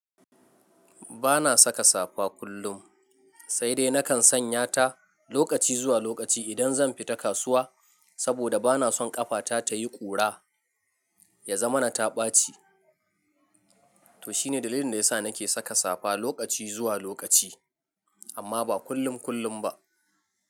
Ba na saka safa kullum, sai dai na kan sanya ta lokaci zuwa lokaci idan zan fita kasuwa, saboda ba na son ƙafata ta yi ƙura, ya zamana ta ɓaci. To shi ne dalilin da ya sa na ke saka safa lokaci zuwa lokaci, amma ba kullum-kullum ba.